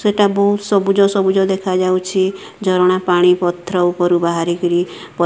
ସେଟା ବୋହୁତ ସବୁଜ ସବୁଜ ଦେଖାଯାଉଛି ଝରଣା ପାଣି ପତ୍ର ଉପରକୁ ବାହାରି କିରି ପ --